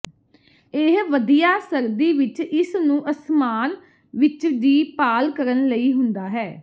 ਇਹ ਵਧੀਆ ਸਰਦੀ ਵਿੱਚ ਇਸ ਨੂੰ ਅਸਮਾਨ ਵਿੱਚ ਦੀ ਭਾਲ ਕਰਨ ਲਈ ਹੁੰਦਾ ਹੈ